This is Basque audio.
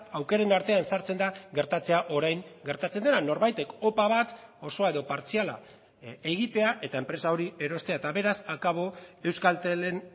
aukeren artean sartzen da gertatzea orain gertatzen dena norbaitek opa bat osoa edo partziala egitea eta enpresa hori erostea eta beraz akabo euskaltelen